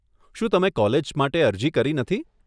શું તમે કોલેજ માટે અરજી કરી નથી?